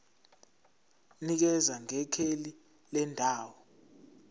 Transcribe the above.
nikeza ngekheli lendawo